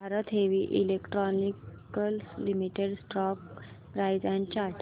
Bharat Heavy Electricals Limited stock price and chart